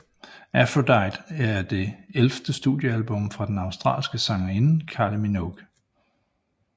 Aphrodite er det ellevte studiealbum fra den australske sangerinde Kylie Minogue